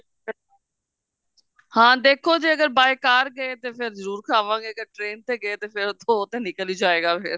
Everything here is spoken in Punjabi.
ਹਾਂ ਦੇਖੋ ਤੇ ਅਗਰ by car ਗਏ ਤੇ ਫੇਰ ਜਰੂਰ ਖਾਂਵਾਂਗੇ ਤੇ ਅਗਰ train ਤੇ ਗਏ ਤੇ ਉਹ ਤੇ ਫੇਰ ਨਿਕਲ ਜਾਏਗਾ ਫੇਰ